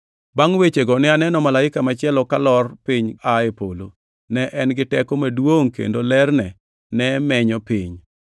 Bangʼ wechego ne aneno malaika machielo kalor piny aa e polo. Ne en gi teko maduongʼ, kendo lerne ne menyo piny.